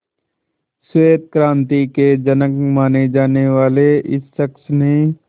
श्वेत क्रांति के जनक माने जाने वाले इस शख्स ने